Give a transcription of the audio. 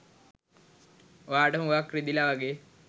ඔයාට හුගාක් රිදිලා වගේ!